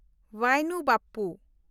ᱵᱟᱭᱱᱩ ᱵᱟᱯᱯᱩ